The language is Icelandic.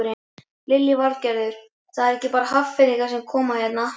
Lillý Valgerður: Það eru ekki bara Hafnfirðingar sem koma hérna?